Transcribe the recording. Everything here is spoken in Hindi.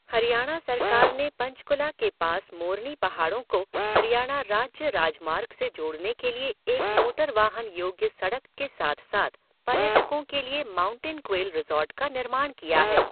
हरियाणा सरकार ने पंचकूला के पास मोरनी पहाड़ों को हरियाणा राज्य राजमार्ग से जोड़ने के लिए एक मोटर वाहन योग्य सड़क के साथ साथ पर्यटकों के लिए माउंटेन क्वेल रिज़ॉर्ट का निर्माण किया है।